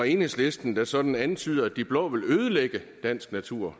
enhedslisten der sådan antyder at de blå ligefrem vil ødelægge dansk natur